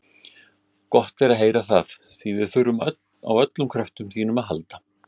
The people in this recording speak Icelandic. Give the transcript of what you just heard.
Gott er að heyra það, því við þurfum á öllum kröftum þínum að halda.